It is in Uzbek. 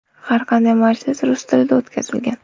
Har qanday majlis rus tilida o‘tkazilgan.